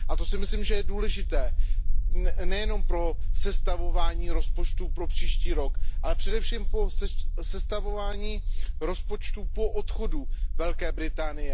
A to si myslím, že je důležité nejenom pro sestavování rozpočtu pro příští rok, ale především pro sestavování rozpočtu po odchodu Velké Británie.